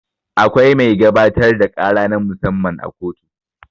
Akwai mai gabatar da ƙara na mu-samma a kotu.